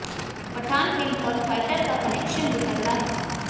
Pathan film और Fighter का connection भी बड़ा तगड़ा है